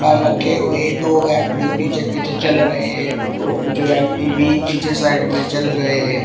पाल रखे हुए दो व्यक्ति पीछे पीछे चल रहे हैं और कुछ व्यक्ति भी पीछे साइड में चल रहे हैं।